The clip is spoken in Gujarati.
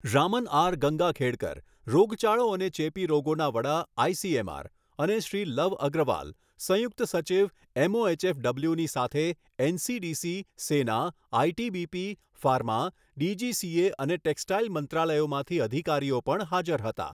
રામન આર ગંગાખેડકર, રોગચાળો અને ચેપી રોગોના વડા, આઇસીએમઆર અને શ્રી લવ અગ્રવાલ, સંયુક્ત સચિવ એમઓએચએફડબલ્યુની સાથે એનસીડીસી, સેના, આઇટીબીપી, ફાર્મા, ડીજીસીએ અને ટેકસ્ટાઇલ મંત્રાલયોમાંથી અધિકારો પણ હાજર હતા.